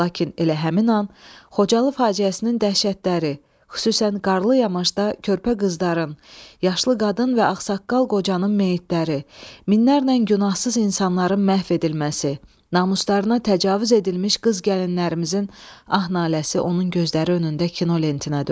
Lakin elə həmin an Xocalı faciəsinin dəhşətləri, xüsusən qarlı yamaşda körpə qızların, yaşlı qadın və ağsaqqal qocanın meyitləri, minlərlə günahsız insanların məhv edilməsi, namuslarına təcavüz edilmiş qız gəlinlərimizin ah-naləsi onun gözləri önündə kino lentinə döndü.